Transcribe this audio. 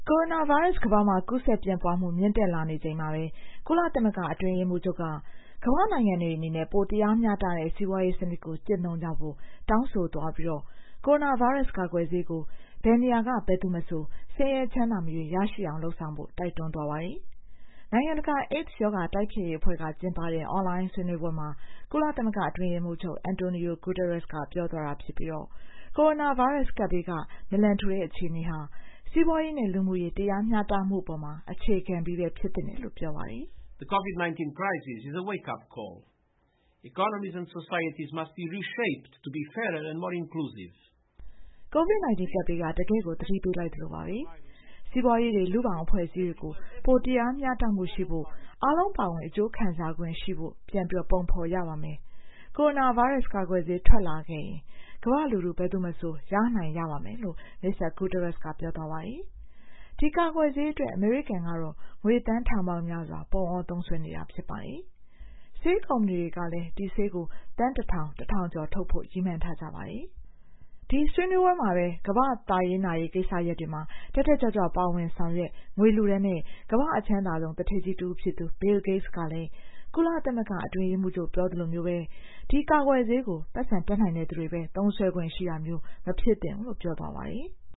ကိုရိုနာဗိုင်းရပ်စ် ကူးစက်ပြန့်ပွားမှု မြင့်တက်လာနေချိန်မှာပဲ ကုလသမဂ္ဂ အတွင်းရေးမှူးချုပ်က ကမ္ဘာ့နိုင်ငံတွေအနေနဲ့ ပိုတရားမျှတတဲ့ စီးပွားရေးစနစ်ကို ကျင့်သုံးကြဖို့ တောင်းဆိုလိုက်ပြီး ကိုရိုနာဗိုင်းရပ်စ် ကာကွယ်ဆေးကို ဘယ်နေရာက ဘယ်သူမဆို ဆင်းရဲချမ်းသာမရွေး ရရှိအောင် လုပ်ဆောင်ဖို့ တိုက်တွန်းသွားပါတယ်။ နိုင်ငံတကာ AIDS ရောဂါ တိုက်ဖျက်ရေးအဖွဲ့က ကျင်းပတဲ့ အွန်လိုင်းဆွေးနွေးပွဲမှာ ကုလအတွင်းရေးမှူးချုပ် Antonio Guterres က ပြောသွားတာဖြစ်ပြီး ကိုရိုနာဗိုင်းရပ်စ်ကပ်ဘေးက နာလံထူတဲ့ အခြေအနေဟာ စီးပွားရေးနဲ့ လူမှုရေး တရားမျှတမှုအပေါ် အခြေခံပြီးပဲ ဖြစ်သင့်တယ်လို့လည်း ပြောပါတယ်။ “COVID-19 ကပ်ဘေးက တကယ့်ကို သတိပေးလိုက်သလိုပါပဲ။ စီးပွားရေးတွေ၊ လူ့ဘောင်အဖွဲ့အစည်းတွေကို ပိုတရားမျှတမှုရှိဖို့ အားလုံးပါဝင် အကျိူးခံစားခွင့်ရှိဖို့ ပြန်ပုံဖော်ရပါတယ်။ ကိုရိုနာဗိုင်းရပ်စ် ကာကွယ်ဆေး ထွက်လာခဲ့ရင် ကမ္ဘာ့လူထု ဘယ်သူမဆို ရနိုင်ရပါမယ်" လို့ Mr. Guterres က ပြောသွားပါတယ်။ ဒီကာကွယ်ဆေးအတွက် အမေရိကန်ကတော့ ငွေသန်းထောင်ပေါင်းများစွာ ပုံအောသုံးစွဲနေတာ ဖြစ်ပါတယ်။ ဆေးကုမ္ပဏီတွေကလည်း ဒီဆေးကို သန်း ၁,၀၀၀ ကျော်ထုတ်ဖို့ ရည်မှန်းထားကြတာပါ။ ဒီဆွေးနွေးပွဲမှာပဲ ကမ္ဘာ့သာရေးနာရေး ကိစ္စရပ်တွေမှာ တက်တက်ကြွကြွ ပါဝင်ဆောင်ရွက် ငွေလှူဒါန်းတဲ့ ကမ္ဘာ့အချမ်းသာဆုံး သူဌေးကြီးတဦးဖြစ်သူ Bill Gates ကလည်း ကုလအတွင်းရေးမှူးချုပ် ပြောသလိုမျိုးပဲ ဒီကာကွယ်ဆေးကို ပိုက်ဆံတတ်နိုင်သူတွေပဲ သုံးစွဲခွင့်ရှိတာမျိုး မဖြစ်သင့်ဘူးလို့ ပြောသွားပါတယ်။